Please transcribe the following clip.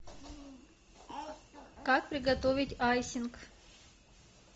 как приготовить айсинг